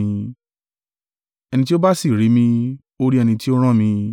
Ẹni tí ó bá sì rí mi, ó rí ẹni tí ó rán mi.